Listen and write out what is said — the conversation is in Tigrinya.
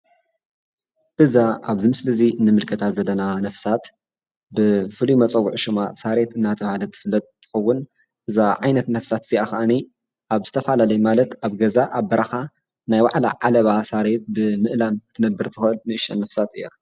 እዛ ኣብዚ ምስሊ እዚ እንምልከታ ዘለና ነብሳት ብፉሉይ መፀዊዒዓ ሽማ ሳርየት እንዳተባሃለት እትፍለጥ እንትኸውን እዛ ዓይነት ነብሳት ከዓኒ ኣብ ዝተፈላለዩ ኣብ ገዛ ኣብ በረኻ ናይ ባዕላ ዓለባ ሳርየት ብምእላም ክትነብር እትክእል ንእሽተይ ነብሳት እያ፡፡